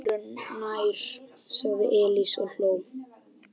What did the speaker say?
Öðru nær, sagði Elías og hló.